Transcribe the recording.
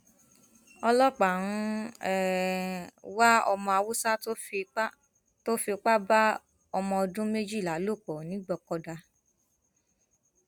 ọlọpàá ń wá ọmọ haúsá tó fipá tó fipá bá ọmọdọdún méjìlá lò pọ nìgbòkọdá